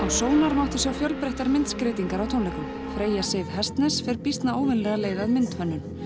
sónar mátti sjá fjölbreyttar myndskreytingar á tónleikum freya Sif Hestnes fer býsna óvenjulega leið að myndhönnun